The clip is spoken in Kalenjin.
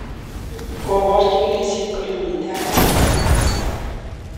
Kobor chikilishet kole miten alak 47.